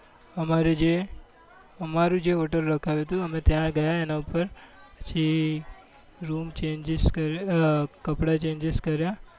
અમારી જે અમારું જે hotel રાખ્વ્યું હતું અમે ત્યાં ગયા એના ઉપર પછી room changeses અ કપડા changese કર્યા